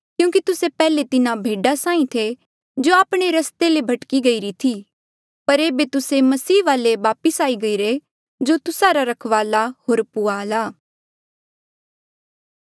क्यूंकि तुस्से पैहले तिन्हा भेडा साहीं थे जो आपणे रस्ते ले भटकी गईरी थी पर एेबे तुस्से मसीह वाले वापस आई गईरे जो तुस्सा रा रखवाला होर पुहाल आ